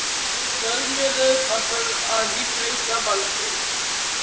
Sveinar, hvernig kemst ég þangað?